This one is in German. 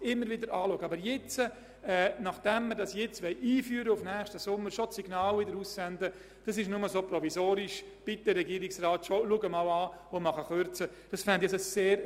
Aber zum jetzigen Zeitpunkt wäre es sehr ungünstig, das Signal auszusenden, dass diese Lektionentafel nur provisorisch sei und der Regierungsrat bereits mögliche Kürzungen prüfen solle.